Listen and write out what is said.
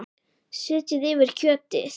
Setjið yfir kjötið.